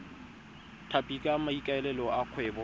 tlhapi ka maikaelelo a kgwebo